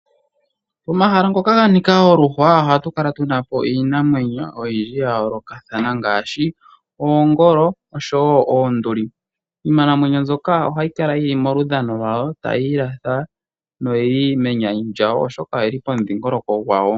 Pomahala ngoka ganika oluhwa ohapu kala puna iinamwenyo oyindji ya yoolokothana ngaashi oongolo oshowo oonduli. Iinamwenyo mbyoka ohayi kala yili menyanyu lyawo tayi ilatha oshoka oyili pehala lyawo.